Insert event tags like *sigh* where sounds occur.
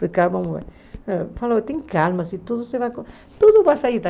*unintelligible* Falou, tem calma, se tudo se vai... Tudo vai sair bem.